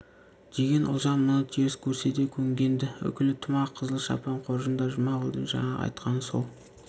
деген ұлжан мұны теріс көрсе де көнген-ді үкілі тымақ қызыл шапан қоржында жұмағұлдың жаңағы айтқаны сол